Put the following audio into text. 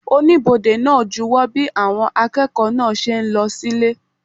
Oníbodè náà júwo bí àwọn akẹ́kọ̀ọ́ náà ṣe ń lọ sílé